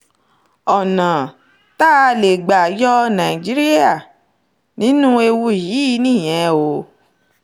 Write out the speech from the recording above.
ọ̀nà tá a lè gbà yọ nàìjíríà nínú ewu yìí nìyẹn o